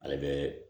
Ale bɛ